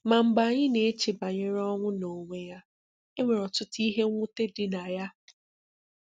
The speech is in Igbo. Ma mgbe anyị na-eche banyere ọnwụ n'onwe ya, e nwere ọtụtụ ihe mwute dị na ya.